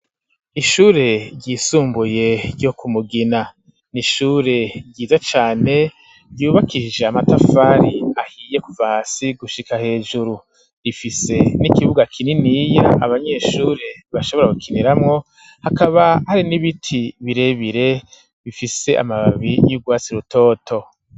Ishure ryisumbuye ryo kumugina nishure ryiza cane ryubakiije amatafari ahiye kuva hasi gushika hejuru rifise n'ikibuga kininiya abanyeshure bashobora gukiniramwo hakaba hari n'ibiti birebire bifise amababi y'urwasi rutoto.